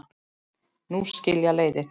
Nú skilja leiðir.